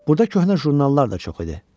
Burda köhnə jurnallar da çox idi.